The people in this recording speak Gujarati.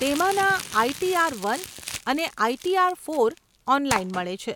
તેમાંના આઇટીઆર વન અને આઇટીઆર ફોર ઓનલાઈન મળે છે.